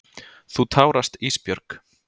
Þú tárast Ísbjörg.